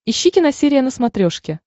ищи киносерия на смотрешке